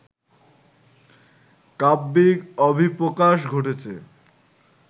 কাব্যিক অভিপ্রকাশ ঘটেছে